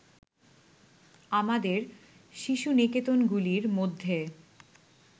আমাদের শিশু-নিকেতনগুলির মধ্যে